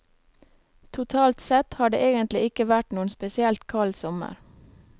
Totalt sett har det egentlig ikke vært noen spesielt kald sommer.